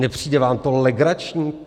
Nepřijde vám to legrační?